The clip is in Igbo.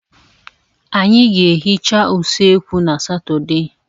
Anyị ga-ehicha usekwu na Satọde.